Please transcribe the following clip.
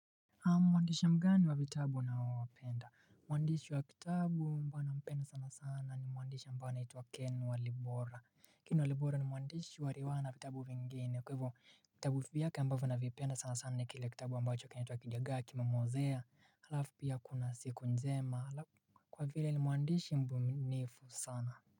Mwandishi mgani wa vitabu unaowapenda. Mwandishi wa kitabu ambao ninampenda sana sana ni mwandishi ambao anaitwa Ken Walibora. Ken Walibora ni mwandishi wa riwaya na vitabu vingine. Kwa hivyo, vitabu vyake ambavyo navipenda sana sana, ni kile kitabu ambacho kinaitwa 'Kidagaa kimemwozea'. Halafu pia kuna 'siku njema'. Kwa vile ni mwandishi mbunifu sana.